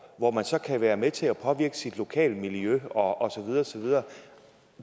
hvor man så kan være med til at påvirke sit lokale miljø og så videre